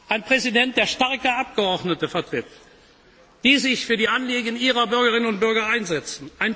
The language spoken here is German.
werden. Ein Präsident, der starke Abgeordnete vertritt, die sich für die Anliegen ihrer Bürgerinnen und Bürgern